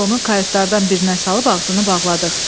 Biz onu kayutlardan birinə salıb ağzını bağladıq.